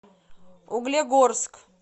углегорск